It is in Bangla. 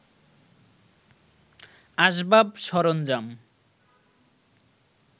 আসবাব সরঞ্জাম